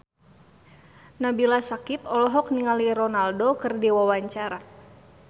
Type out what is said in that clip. Nabila Syakieb olohok ningali Ronaldo keur diwawancara